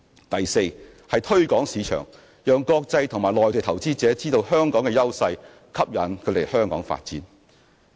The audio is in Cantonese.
第四，推廣市場，讓國際及內地投資者知道香港的優勢，吸引他們來港發展。